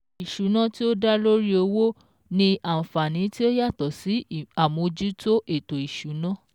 Ìṣúná tí ó dá lórí owó ni àǹfàní tí ó yàtò sí àmójútó ètò ìsúná